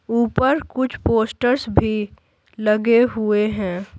ऊपर कुछ पोस्टर्स भी लगे हुए हैं।